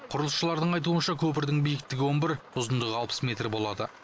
құрылысшылардың айтуынша көпірдің биіктігі он бір ұзындығы алпыс метр болады